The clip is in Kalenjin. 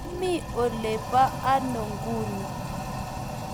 Imi ole po ano nguni?